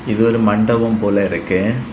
இது ஒரு மண்டபம் போல இருக்கு.